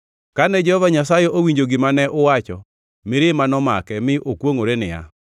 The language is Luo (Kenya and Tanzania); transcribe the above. Kane Jehova Nyasaye owinjo gima ne uwacho, mirima nomake mi okwongʼore niya,